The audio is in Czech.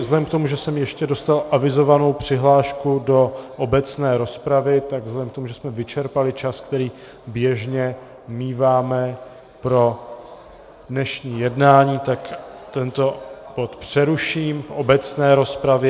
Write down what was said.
Vzhledem k tomu, že jsem ještě dostal avizovanou přihlášku do obecné rozpravy, tak vzhledem k tomu, že jsme vyčerpali čas, který běžně míváme pro dnešní jednání, tak tento bod přeruším v obecné rozpravě.